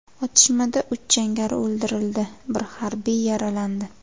Otishmada uch jangari o‘ldirildi, bir harbiy yaralandi.